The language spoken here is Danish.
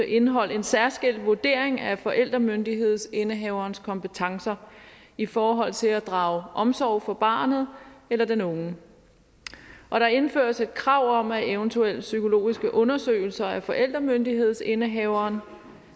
indeholdt en særskilt vurdering af forældremyndighedsindehaverens kompetencer i forhold til at drage omsorg for barnet eller den unge og der indføres et krav om at eventuelle psykologiske undersøgelser af forældremyndighedsindehaveren